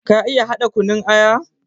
Ka iya haɗa kunun aya?